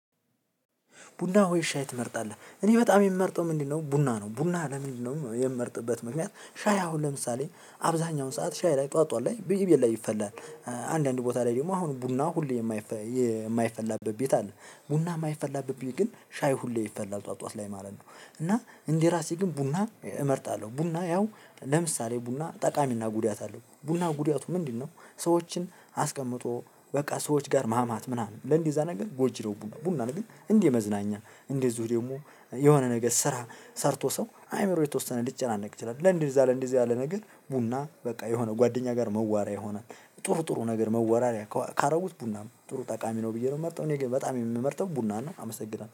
ቡና ወይ ሻይ ትመርጣለህ? እኔ በጣም የምመርጠው ምንድነው ቡና ነው። ቡና ለምንድነው የምመርጥበት ምክንያት። ሻይ አሁን ለምሳሌ አብዛኛውን ሰዓት ሻይ ላይ ጠዋት ላይ ብይ ብዬ ላይ ይፈላል አንዳንድ ቦታ ላይ ደግሞ አሁን ቡና ሁሌ የማይፈላበት ቤት አለ። ቡና የማይፈላበት ግን ሻይ ሁሌ ይፈላል ጠዋት ጠዋት ላይ ማለት ነው። እና እንደራሴ ግን ቡና እመርጣለሁ። ቡና ያው ለምሳሌ ቡና ጠቃሚና ጉዳት አለው ቡና ጉዳቱ ምንድነው? ሰዎችን አስቀምጦ በቃ ሰዎች ጋር ማማት ምናምን ለእንዲህ እዛ ነገር ጎጂ ነው ቡና ነው። ግን እንዲህ መዝናኛ እንደዚሁ ደግሞ የሆነ ነገር ስራ ሰርቶ ሰው አይምሮ የተወሰነ ልጨናነቅ ይችላል። ለእንደዛ ለእንደዛ ያለ ነገር ቡና በቃ የሆነ ጓደኛ ጋር መዋሪያ የሆነት ጥሩ ጥሩ ነገር መወራሪያ ካረጉት ቡናም ጥሩ ጠቃሚ ነው። ብዬ ነው የምመርጠው እኔ በጣም የምመርጠው ቡና ነው። አመሰግናለሁ